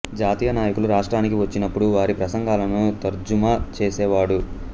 జాతీయ నాయకులు రాష్ట్రానికి వచ్చినపుడు వారి ప్రసంగాలను తర్జుమా చేసేవాడు